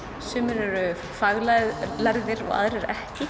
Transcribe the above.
sumir eru faglærðir faglærðir aðrir ekki